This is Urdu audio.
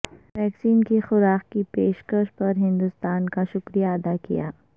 ویکسین کی خوراک کی پیش کش پر ہندوستان کا شکریہ ادا کیا